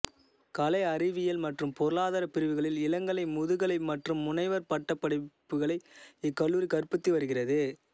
கலை அறிவியல் மற்றும் பொருளாதார பிரிவுகளில் இளங்கலை முதுகலை மற்றும் முனைவர் பட்டப் படிப்புகளை இக்கல்லூரி கற்பித்து வருகிறது